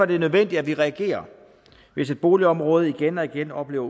det nødvendigt at vi reagerer hvis et boligområde igen og igen oplever